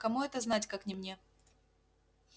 кому это знать как не мне